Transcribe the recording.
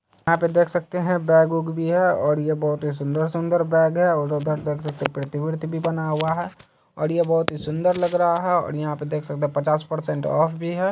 यहाँ पे देख सकते है बैग उग भी है और ये बहुत ही सुंदर-सुंदर बैग है और उधर देख सकते है पृथ्वी-वृथ्वी बना हुआ है और ये बहुत ही सुंदर लग रहा है और यहाँ पे देख सकते है पचास परसेंट ऑफ भी है।